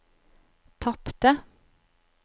tapte